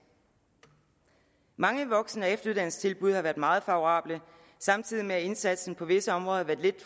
mange voksen og efteruddannelsestilbud har været meget favorable samtidig med at indsatsen på visse områder